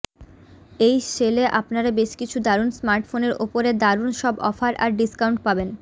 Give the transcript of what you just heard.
এই সেলে আপনারা বেশ কিছু দারুন স্মার্টফোনের ওপরে দারুন সব অফার আর ডিস্কাউন্ট পাবেন